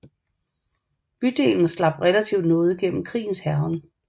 Bydelen slap relativt nådigt gennem krigens hærgen